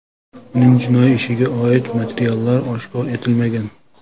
Uning jinoiy ishiga oid materiallar oshkor etilmagan.